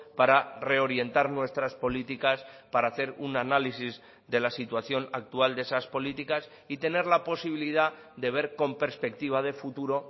para reorientar nuestras políticas para hacer un análisis de la situación actual de esas políticas y tener la posibilidad de ver con perspectiva de futuro